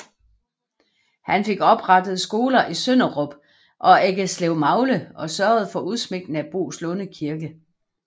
Han fik oprettet skoler i Sønderup og Eggeslevmagle og sørgede for udsmykning af Boeslunde Kirke